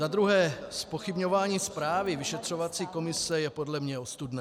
Za druhé - zpochybňování zprávy vyšetřovací komise je podle mne ostudné.